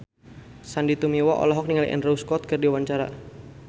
Sandy Tumiwa olohok ningali Andrew Scott keur diwawancara